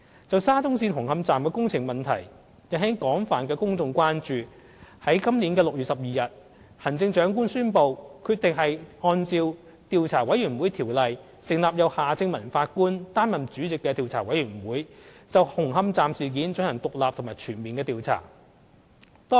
就沙中線紅磡站的工程問題引起廣泛的公眾關注，在今年6月12日，行政長官宣布決定按照《調查委員會條例》，成立由夏正民法官擔任主席的調查委員會，就紅磡站事件進行獨立及全面的調查。